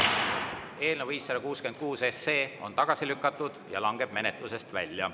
Eelnõu 566 on tagasi lükatud ja langeb menetlusest välja.